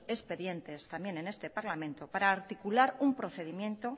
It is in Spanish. expedientes también en este parlamento para articular un procedimiento